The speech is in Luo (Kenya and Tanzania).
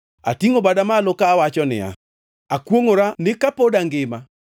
Atingʼo bada malo kawacho niya, Akwongʼora ni kapod angima,